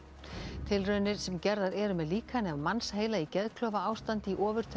tilraunir sem gerðar eru með líkani af mannsheila í geðklofaástandi í